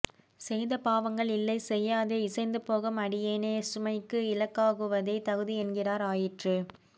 செய்த பாவங்கள் இல்லை செய்யாதே இசைந்து போகும் அடியேனை க்ஷமைக்கு இலக்காக்குவதே தகுதி என்கிறார் ஆயிற்று